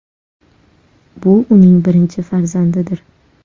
Bu uning birinchi farzandidir.